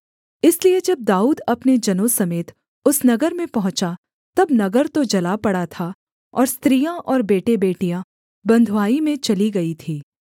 इसलिए जब दाऊद अपने जनों समेत उस नगर में पहुँचा तब नगर तो जला पड़ा था और स्त्रियाँ और बेटेबेटियाँ बँधुआई में चली गई थीं